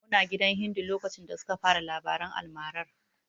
Muna gidan Hindu lokacin da suka fara labaran almarar.